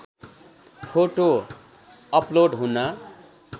photo upload हुन